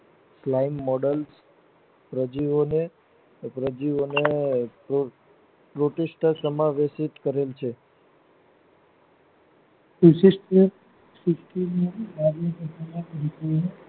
Clean model પ્રજીવો નો એક પ્રજીવો નો યુધિષ્ટિ સમાગત કરે છે વિશિષ્ટ વિકૃત કરે છે